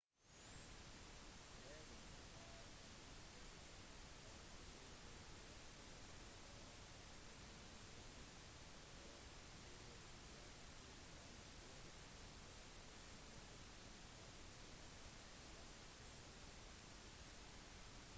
hagen er omringet av flere restauranter og om ettermiddagen og på kveldstid arrangeres det ofte gratiskonserter i lysthuset i midten